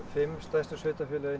fimm stærstu sveitarfélögunum